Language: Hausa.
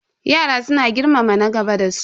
Yaran suna girmama na gaba da su.